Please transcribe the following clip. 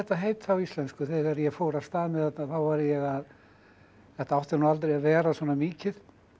heita á íslensku þegar ég fór af stað með þetta þá var ég að þetta átti nú aldrei að vera svona mikið